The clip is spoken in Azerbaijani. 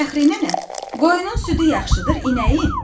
Fəxri nənə, qoyunun südü yaxşıdır, inəyin?